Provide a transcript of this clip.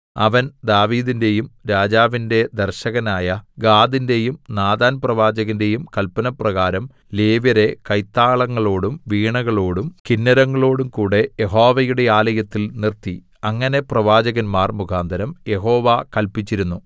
അവൻ ദാവീദിന്റെയും രാജാവിന്റെ ദർശകനായ ഗാദിന്റെയും നാഥാൻപ്രവാചകന്റെയും കല്പനപ്രകാരം ലേവ്യരെ കൈത്താളങ്ങളോടും വീണകളോടും കിന്നരങ്ങളോടും കൂടെ യഹോവയുടെ ആലയത്തിൽ നിർത്തി അങ്ങനെ പ്രവാചകന്മാർ മുഖാന്തരം യഹോവ കല്പിച്ചിരുന്നു